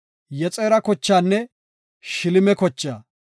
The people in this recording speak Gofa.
Yexera kochaanne Shileme kochaa.